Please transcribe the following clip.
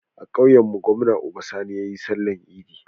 A kauyan mu gwamna Uba Sani yayi sallar idi